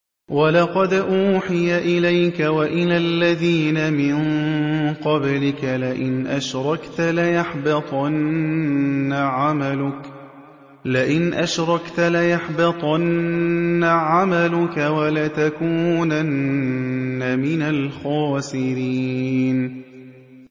وَلَقَدْ أُوحِيَ إِلَيْكَ وَإِلَى الَّذِينَ مِن قَبْلِكَ لَئِنْ أَشْرَكْتَ لَيَحْبَطَنَّ عَمَلُكَ وَلَتَكُونَنَّ مِنَ الْخَاسِرِينَ